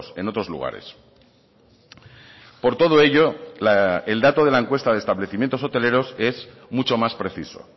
en otros lugares por todo ello el dato de la encuesta de establecimientos hoteleros es mucho más preciso